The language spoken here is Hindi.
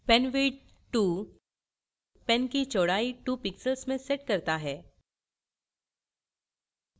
penwidth 2 pen की चौड़ाई 2 pixels में sets करता है